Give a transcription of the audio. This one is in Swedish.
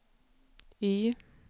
Y